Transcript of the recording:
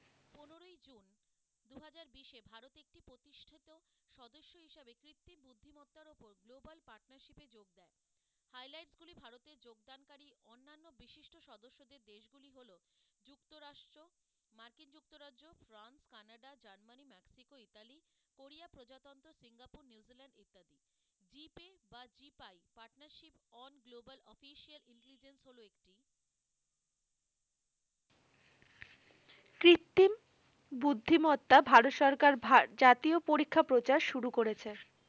কৃত্রিম বুদ্ধি মত্তা ভারত সরকার ভার জাতীয় পরীক্ষা প্রচার শুরু করেছে।